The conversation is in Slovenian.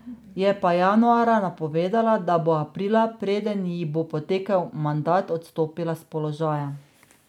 Je pa januarja napovedala, da bo aprila, preden ji bo potekel mandat, odstopila s položaja.